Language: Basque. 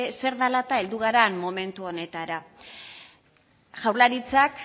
zer dela eta heldu garen momentu honetara jaurlaritzak